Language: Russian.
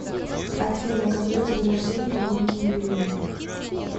афина когда день рождения у ольги юрьевны